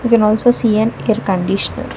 We can also seen an air conditioner.